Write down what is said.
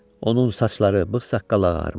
Onun saçları, bığ-saqqalı ağarmışdı.